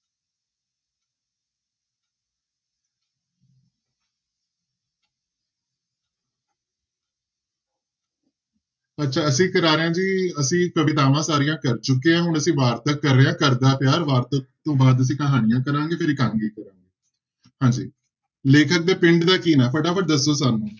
ਅੱਛਾ ਅਸੀਂ ਕਰਾ ਰਹੇ ਹਾਂ ਜੀ ਅਸੀਂ ਕਵਿਤਾਵਾਂ ਸਾਰੀਆਂ ਕਰ ਚੁੱਕੇ ਹਾਂ, ਹੁਣ ਅਸੀਂ ਵਾਰਤਕ ਕਰ ਰਹੇ ਹਾਂ ਘਰਦਾ ਪਿਆਰ, ਵਾਰਤਕ ਤੋਂ ਬਾਅਦ ਅਸੀਂ ਕਹਾਣੀਆਂ ਕਰਾਂਗੇ, ਫਿਰ ਇਕਾਂਗੀ ਕਰਾਂ~ ਹਾਂਜੀ ਲੇਖਕ ਦੇ ਪਿੰਡ ਦਾ ਕੀ ਨਾਂ ਫਟਾਫਟ ਦੱਸ ਦਓ ਸਾਨੂੰ।